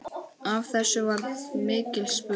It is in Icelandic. Af þessu varð mikill spuni.